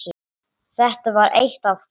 Þetta var eitt af því.